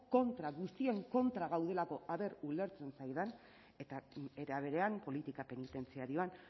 kontra guztien kontra gaudelako ea ulertzen zaidan eta era berean politika penitentziarioan